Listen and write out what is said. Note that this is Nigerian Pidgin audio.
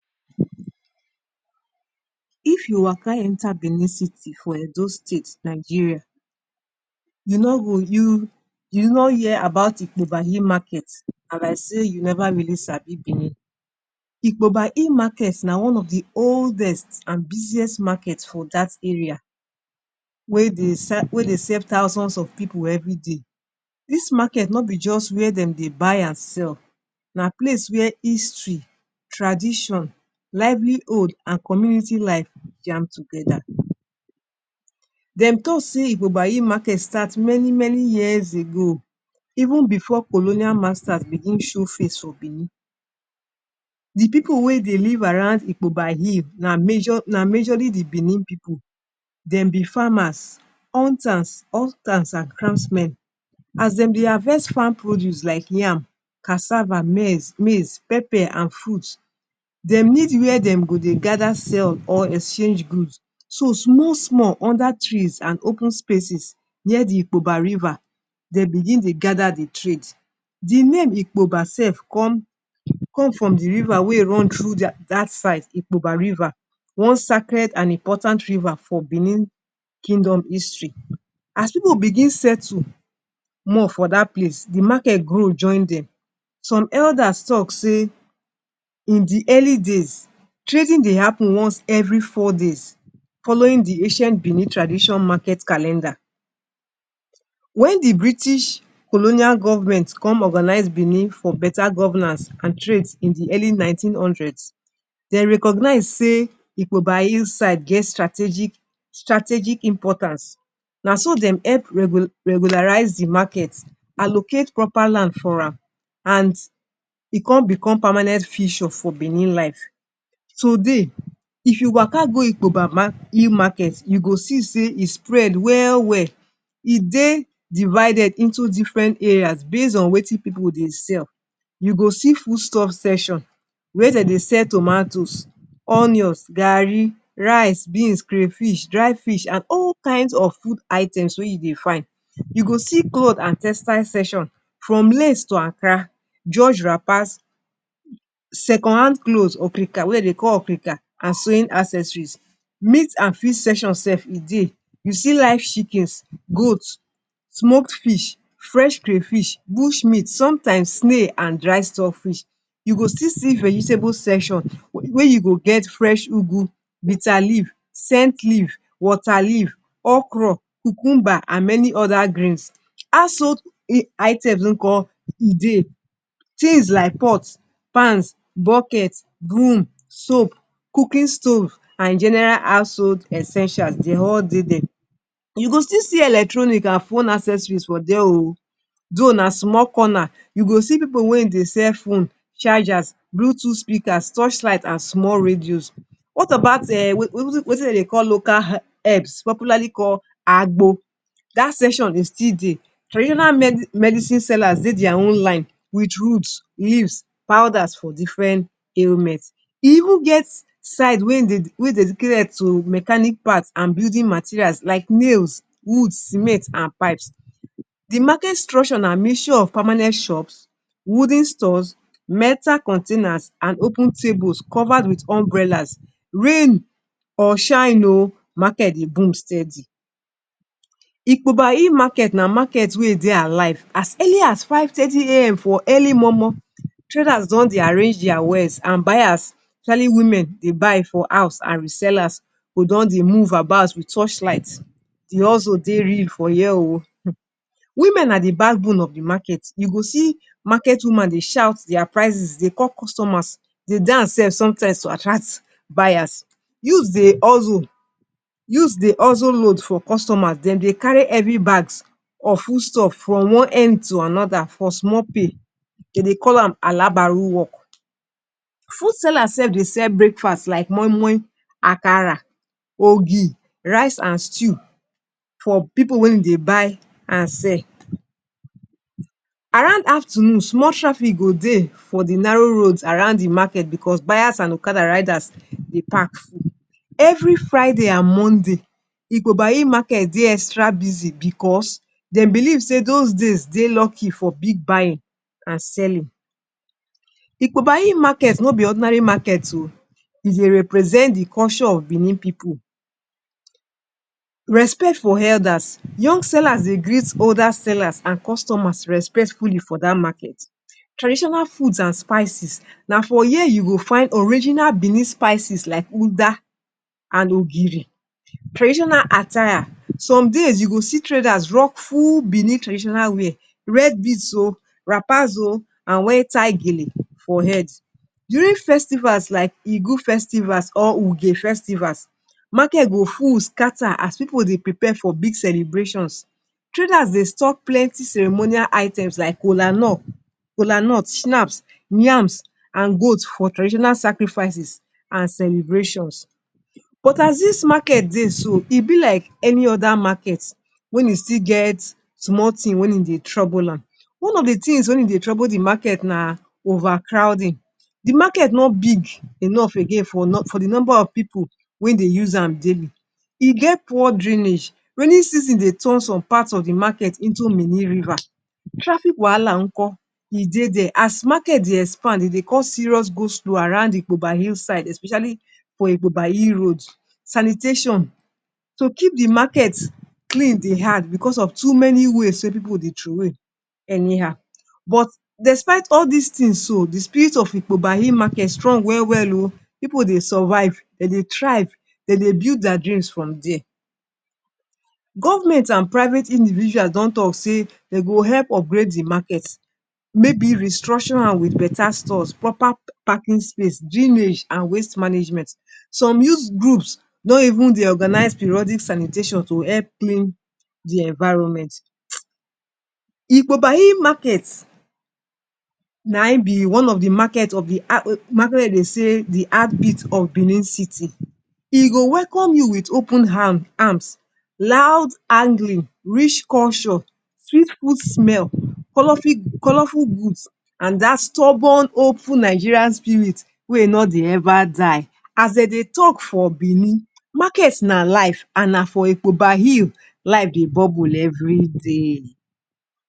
If you waka enter Benin City for Edo State, Nigeria, you no go you no hear about Ikpoba Hill Market, na like sey you neva really sabi Benin. Ikpoba Hill Market na one of the oldest an busiest market for dat area wey dey wey dey serve thousands of pipu everyday. Dis market no be juz where dem dey buy an sell, na place where history, tradition, livelihood an community life jam together. Dem talk sey Ikpoba Hill Market start many-many years ago even before colonial masters begin show face for Benin. The pipu wey dey live around Ikpoba Hill na major na majorly the Benin pipu. Dem be farmers, hunters, an craftsmen. As dem dey harvest farm produce like yam, cassava, maize, maize, pepper an fruit, dem need where dem go dey gather sell or exchange goods. So, small-small under trees an open spaces near the Ikpoba River, de begin dey gather the trade. The name Ikpoba sef come come from the river wey run through dia dat side, Ikpoba River—one sacred an important river for Benin Kingdom history. As pipu begin settle more for dat place, the market grow join dem. Some elders talk sey in the early days, trading dey happen once every four days following the ancient Benin tradition market calendar. Wen the British colonial government come organise Benin for beta governance an trades in the early nineteen hundreds, dey recognize sey Ikpoba hillside get strategic strategic importance. Na so dem help regularise the market, allocate proper land for am, and e con become permanent feature for Benin life. Today, if you waka go Ikpoba Hill Market, you go see sey e spread well well. E dey divided into different areas based on wetin pipu dey sell. You go see foodstuff session wey de dey sell tomatoes, onions, garri, rice, beans, crayfish, dried fish, an all kains of food items wey you dey find. You go see cloth an textile section from Lace to Ankara, George Wrappers, second hand clothes —okrika— wey de dey call okrika, an sowing accessories. Meat an fish section sef e dey. You see live chickens, goat, smoked fish, fresh crayfish, bush meat, sometimes, snail an dried stock fish. You go still see vegetable section wey you go get fresh ugu, bitter leaf, scent leaf, water leaf, okro, cucumber, an many other greens. Household items nko? E dey. Tins like pot, pans, bucket, broom, soap, cooking stove, an general household essentials, dey all dey there. You go still see electronic an phone accessories for there oh. Though na small corner, you go see pipu wein dey sell phone, chargers, bluetooth speakers, torchlight, an small radios. What about um wetin de dey call local herbs popularly call aagbo? Dat section e still dey. Traditional medicine sellers dey dia own line with roots, leaves, powders, for different ailment. E even get side wey wey dedicated to mechanic part an building materials like nails, woods, cement an pipes. The market structure na mixture of permanent shops, wooden stores, metal containers, an open tables covered with umbrellas. Rain or shine oh, market dey boom steady. Ikpoba Hill Market na market wey e dey alive. As early as five thirty a.m. for early momo, traders don dey arrange dia wares, an buyers, especially women dey buy for house an resellers go don dey move about with torchlight. The hustle dey real for here oh um Women na the backbone of the market. You go see market woman dey shout dia prices dey call customers, dey dance sef sometimes to attract buyers. Youths dey hustle. Youths dey hustle load for customers. Dem dey carry heavy bags of foodstuff from one end to another for small pay. De dey call am alabaru work. Food sellers sef dey sell breakfast like moimoi, akara, ogi, rice an stew for pipu wey de dey buy an sell. Around afternoon, small traffic go dey for the narrow road around the market becos buyers an okada riders dey park full. Every Friday an Monday, Ikpoba Hill Market dey extra busy becos dem believe sey dos days dey lucky for big buying an selling. Ikpoba Hill Market no be ordinary market oh, e dey represent the culture of Benin pipu. Respect for elders. Young sellers dey greet older sellers an customers respectfully for dat market. Traitional food an spicies. Na for here you go find original Benin spicies like uda, an ogiri. Traditional attire. Some days, you go see traders drop full Benin traditional wear, red beads oh, wrappers oh an wear tie gele for head. During festivals like Igu festivals or Uge festivals, market go full scatter as pipu dey prepare for big celebrations. Traders dey stock plenty ceremonial items like kolanut, schnapps, yams, an goat for traditional sacrifices an celebrations. But as dis market dey so, e be like any other market wein e still get small tin wein e dey trouble am. One of the tins wein e dey trouble the market na overcrowding. The market no big enough again for for the nomba of pipu wein dey use am daily. E get popr drainage. Rainy season dey turn some part of the market into mini river.;) Traffick wahala nko? E dey there. As market dey expand, e dey cause serious go-slow around Ikpoba Hillside especially for Ikpoba Hill Road. Sanitation. To keep the market clean dey hard becos of too many waste wey pipu dey throwway anyhow. But despite all dis tins so, the spirit of Ikpoba Hill Market strong well well oh. Pipu dey survive, de dey thrive, de dey build dia dreams from there. Government an private individual don talk sey de go help upgrade the market. Maybe restructure am with beta stores, proper parking space, drainage, an waste management. Some youth groups don even dey organise periodic sanitation to help clean the environment. Ikpoba Hill Market na im be one of the market of the market de dey say the heartbeat of Benin City. E go welcome you with open arm arms, loud, rich culture, sweet food smell, colourful goods, an dat stubborn hopeful Nigerian spirit wey ein no dey ever die. As de dey talk for Benin, market na life, an na for Ikpoba Hill life dey bubble every day.